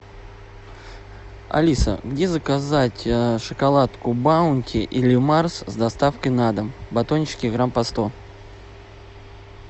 алиса где заказать шоколадку баунти или марс с доставкой на дом батончики грамм по сто